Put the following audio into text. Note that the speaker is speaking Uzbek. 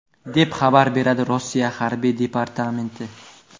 deb xabar beradi Rossiya harbiy departamenti.